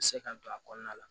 Se ka don a kɔnɔna la